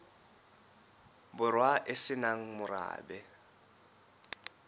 borwa e se nang morabe